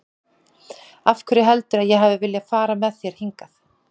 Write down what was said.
Af hverju heldurðu að ég hafi viljað fara með þér hingað?